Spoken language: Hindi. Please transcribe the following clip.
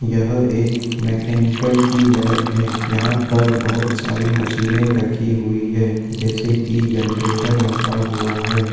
यह एक मेंकैनिकल की लैब है यहाँ पर बहुत सारी मशीने रखी हुई है जैसे की जनरेटर रखा हुआ है।